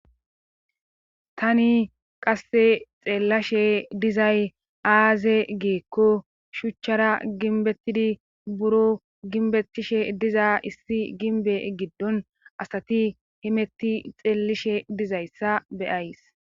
tani qasse xeellashe dizay aaze giikko shuchchara ginbettidi buro ginbetishe diza issi ginbe giddon asati himetti xeellishe dizayssa beyays